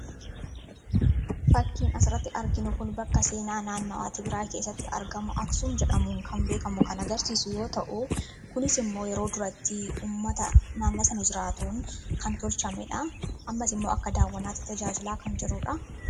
fakkiin asiratti arginu kun bakka seenaa naannawaati biraa keessatti argamu aksuum jedhamuu kan beekamu kana garsiisu yoo ta'u kunis immoo yeroo duratti ummata naanna sana jiraatuun kan tolchamedha ammas immoo akka daawwannaati tajaajilaa kan jeruudha